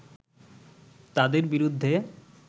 তাঁদের বিরুদ্ধে